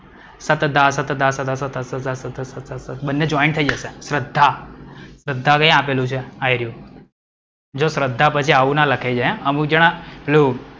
સતધા સતધા સ સ સ સ સ બંને જોઇન્ટ થઈ જશે. શ્રદ્ધા. હવ એયાપેલું છે આઈ રયું. જો શ્રદ્ધા પછી આવું ના લખાય જાય. અમુક જણા પેલું,